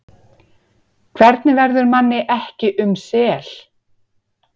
Hvernig verður manni ekki um sel?